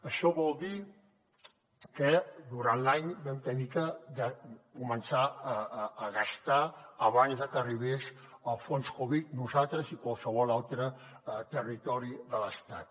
això vol dir que durant l’any vam haver de començar a gastar abans de que arribés el fons covid nosaltres i qualsevol altre territori de l’estat